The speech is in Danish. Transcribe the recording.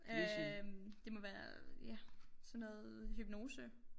Øh det må være ja sådan noget hypnose